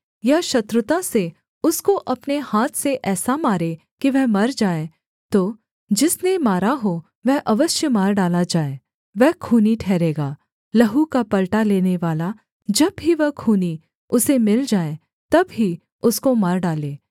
या शत्रुता से उसको अपने हाथ से ऐसा मारे कि वह मर जाए तो जिसने मारा हो वह अवश्य मार डाला जाए वह खूनी ठहरेगा लहू का पलटा लेनेवाला जब भी वह खूनी उसे मिल जाए तब ही उसको मार डाले